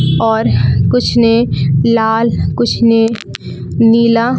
और कुछ ने लाल कुछ ने नीला--